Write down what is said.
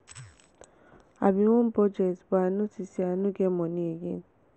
i bin wan budget but i notice say i no get money again